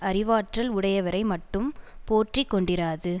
அறிவாற்றல் உடையவரை மட்டும் போற்றி கொண்டிராது